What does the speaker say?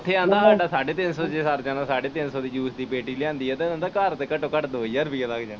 ਉੱਥੇ ਆਂਦਾ ਹਾਡਾ ਸਾਢੇ ਤਿੰਨ ਸੌ ਚ ਸਰ ਜਾਣਾ ਸਾਢੇ ਤਿੰਨ ਸੌ ਦੀ ਜੂਸ ਦੀ ਪੇਟੀ ਲਿਆਂਦੀ ਆ ਤੇ ਆਂਦਾ ਘਰ ਤੇ ਘਟੋ ਘੱਟ ਦੋ ਹਜ਼ਾਰ ਰੁਪਈਆ ਲੱਗ ਜਾਣਾ।